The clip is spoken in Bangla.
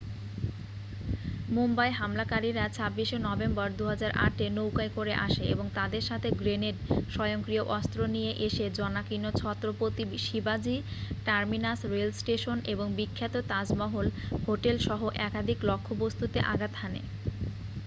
মুম্বাই হামলাকারীরা 26 শে নভেম্বর 2008 এ নৌকায় করে আসে এবং তাদের সাথে গ্রেনেড স্বয়ংক্রিয় অস্ত্র নিয়ে এসে জনাকীর্ণ ছত্রপতি শিবাজি টার্মিনাস রেল স্টেশন এবং বিখ্যাত তাজমহল হোটেল সহ একাধিক লক্ষ্যবস্তুতে আঘাত হানে